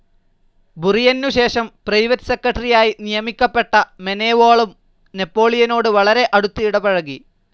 ബുറിയെന്നുശേഷം private സെക്രട്ടറിയായി നിയമിക്കപ്പെട്ട മേനേവാളും നെപോളിയനോട് വളരെ അടുത്ത് ഇടപഴകി.